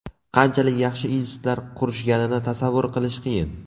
Qanchalik yaxshi institutlar qurishganini tasavvur qilish qiyin.